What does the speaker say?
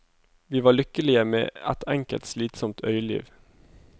Vi var lykkelige med et enkelt, slitsomt øyliv.